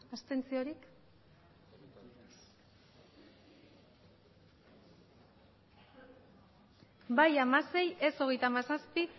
abstentzioak bai hamasei ez hogeita hamazazpi